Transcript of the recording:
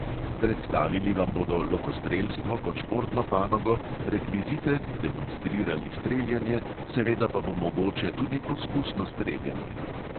Predstavili vam bodo lokostrelstvo kot športno panogo, rekvizite, demonstrirali streljanje, seveda pa bo mogoče tudi poskusno streljanje.